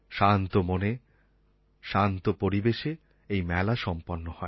শান্ত মনে শান্ত পরিবেশে এই মেলা সম্পন্ন হয়